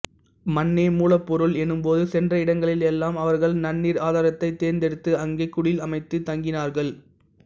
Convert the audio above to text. மண்ணே மூலப்பொருள் எனும்போது சென்ற இடங்களில் எல்லாம் அவர்கள் நன்னீர் ஆதாரத்தைத் தேர்ந்தெடுத்து அங்கே குடில் அமைத்துத் தங்கினார்கள்